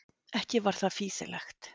Ekki var það fýsilegt.